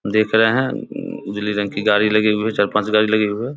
देख रहे है उजली रंग की गाड़ी लगी हुई है चार पांच गाड़ी लगी हुई है।